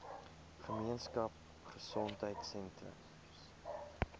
gemeenskap gesondheidsentrum ggs